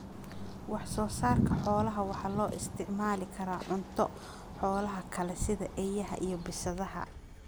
Wax soo saarka xoolaha waxa loo isticmaali karaa cunto xoolaha kale sida eeyaha iyo bisadaha.